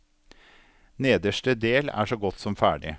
Nederste del er så godt som ferdig.